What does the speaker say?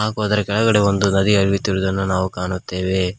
ಹಾಗು ಅದರ ಕೆಳಗಡೆ ಒಂದು ನದಿಯು ಹರಿಯುತ್ತಿರುವುದನ್ನು ನಾವು ಕಾಣುತ್ತೇವೆ.